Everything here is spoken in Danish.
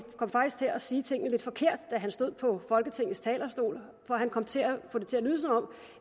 kom faktisk til at sige tingene lidt forkert da han stod på folketingets talerstol for han kom til at få det til